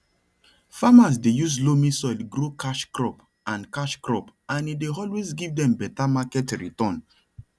farmers dey use loamy soil grow cash cropand cash cropand e dey always give dem better market return